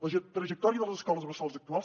la trajectòria de les escoles bressol actuals